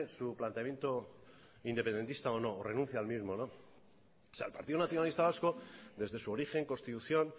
su planteamiento independentista o no renuncie al mismo el partido nacionalista vasco desde su origen constitución